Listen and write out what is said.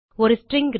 ஒரு ஸ்ட்ரிங்